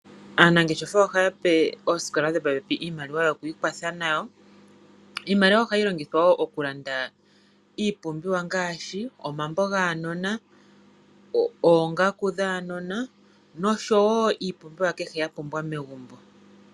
Aanangeshefa ohaya pe oosikola dhopo pepi iimaliwa yoku ikwatha nayo. Iimaliwa ohayi longithwa wo oku landa iipumbiwa ngaashi omambo gaanona, oongaku dhaanona noshowo iipumbiwa kehe ya pumbwa megumbo.